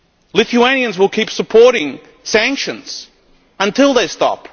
stop. Lithuanians will keep supporting sanctions until they